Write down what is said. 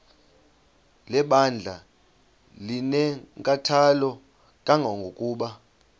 lebandla linenkathalo kangangokuba